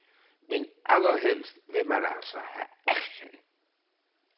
Men allerhelst vil man altså have action.